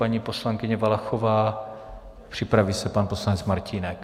Paní poslankyně Valachová, připraví se pan poslanec Martínek.